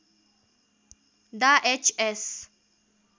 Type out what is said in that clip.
डा H S